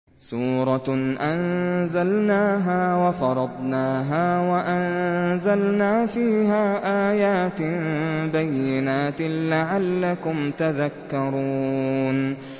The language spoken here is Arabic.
سُورَةٌ أَنزَلْنَاهَا وَفَرَضْنَاهَا وَأَنزَلْنَا فِيهَا آيَاتٍ بَيِّنَاتٍ لَّعَلَّكُمْ تَذَكَّرُونَ